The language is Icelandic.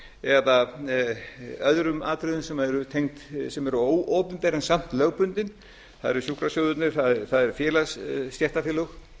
eða öðrum atriðum sem eru óopinber en samt lögbundin það eru sjúkrasjóðirnir það eru stéttarfélög